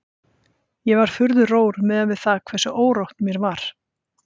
Ég var furðu rór miðað við það hversu órótt mér var.